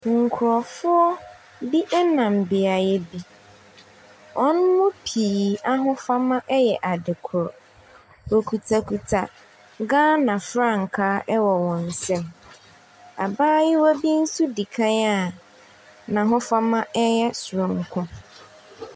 Nkurɔfoɔ bi nam beaeɛ bi. Wɔn mu pii ahofama yɛ adekorɔ. Wɔkutakuta Ghana frankaa wɔ wɔn nsam. Abayewa bi nso di kan a n'ahofama yɛ soronko.